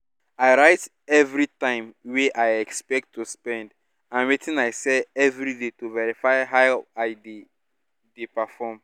i write every time wey i expect to spend and wetin i sell every day to verify how i dey dey perform